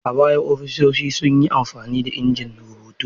A baya ofisoshin sun yi amfani da injin rubutu.